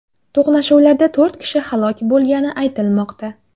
To‘qnashuvlarda to‘rt kishi halok bo‘lgani aytilmoqda.